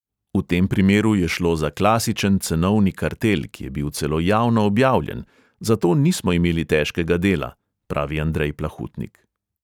"V tem primeru je šlo za klasičen cenovni kartel, ki je bil celo javno objavljen, zato nismo imeli težkega dela," pravi andrej plahutnik.